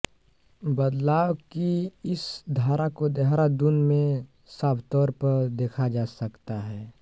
बदलाव की इस धारा को देहरादून में साफतौर पर देखा जा सकता हैं